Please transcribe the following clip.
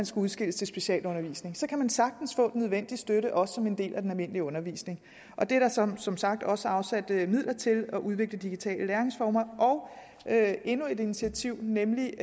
skal udskilles til specialundervisning så kan de sagtens få den nødvendige støtte også som en del af den almindelige undervisning der er som som sagt også afsat midler til at udvikle digitale læringsformer der er endnu et initiativ nemlig